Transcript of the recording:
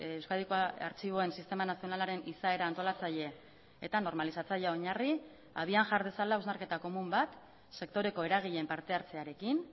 euskadiko artxiboen sistema nazionalaren izaera antolatzaile eta normalizatzailea oinarri abian jar dezala hausnarketa komun bat sektoreko eragileen partehartzearekin